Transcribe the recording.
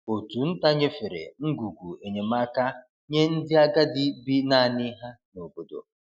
Òtù nta nyefere ngwugwu enyemaka nye ndị agadi bi naanị ha n’obodo.